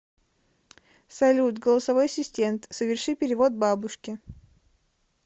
салют голосовой ассистент соверши перевод бабушке